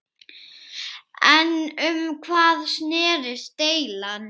En um hvað snerist deilan?